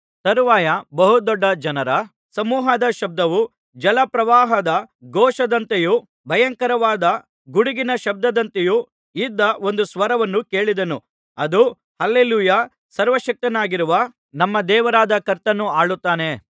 ತರುವಾಯ ಬಹುದೊಡ್ಡ ಜನರ ಸಮೂಹದ ಶಬ್ದವು ಜಲಪ್ರವಾಹದ ಘೋಷದಂತೆಯೂ ಭಯಂಕರವಾದ ಗುಡುಗಿನ ಶಬ್ದದಂತೆಯೂ ಇದ್ದ ಒಂದು ಸ್ವರವನ್ನು ಕೇಳಿದೆನು ಅದು ಹಲ್ಲೆಲೂಯಾ ಸರ್ವಶಕ್ತನಾಗಿರುವ ನಮ್ಮ ದೇವರಾದ ಕರ್ತನು ಆಳುತ್ತಾನೆ